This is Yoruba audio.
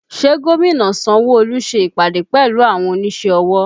Ṣé gómìnà Sanwo Olu ṣe ìpàdé pẹ̀lú àwọn onísẹ́ ọwọ́